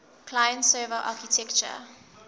client server architecture